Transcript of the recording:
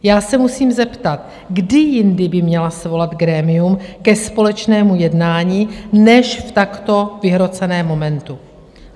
Já se musím zeptat, kdy jindy by měla svolat grémium ke společnému jednání než v takto vyhroceném momentu?